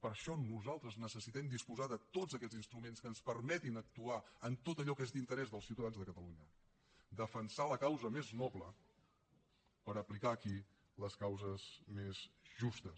per això nosaltres necessitem disposar de tots aquests instruments que ens permetin actuar en tot allò que és d’interès dels ciutadans de catalunya defensar la causa més noble per aplicar aquí les causes més justes